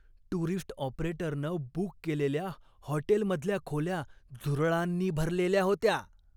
Tourist ऑपरेटरनं book केलेल्या हॉटेलमधल्या खोल्या झुरळांनी भरलेल्या होत्या.